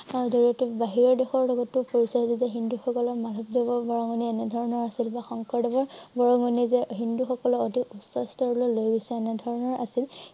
তাৰ জৰিয়তে বাহিৰৰ দেশৰ লগতো পৰিচয় হিন্দু সকলৰ এনে ধৰনৰ আছিল বা শংকৰদেৱৰ বৰঙণি যে হিন্দু সকলৰ অধিক উচ্চ স্তৰলৈ লৈ গৈছে এনে ধৰনৰ আছিল